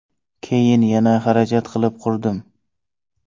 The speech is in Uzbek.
Keyin yana xarajat qilib qurdim.